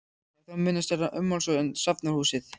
Það er þó mun stærra ummáls en safnahúsið.